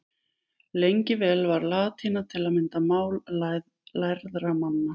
Lengi vel var latína til að mynda mál lærðra manna.